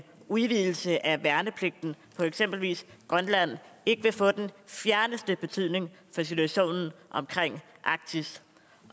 udvidelse af værnepligten på eksempelvis grønland ikke ville få den fjerneste betydning for situationen omkring arktis